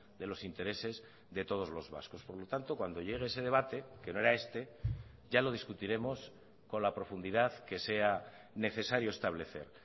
de los intereses de todos los vascos por lo tanto cuando llegue ese debate que no eraeste ya lo discutiremos con la profundidad que sea necesario establecer